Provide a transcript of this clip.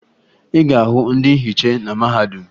Ị ga-ahụ ndị nhiche na mahadum